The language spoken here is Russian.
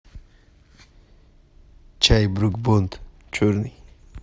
чай брук бонд черный